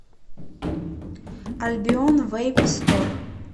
альбион вейп стор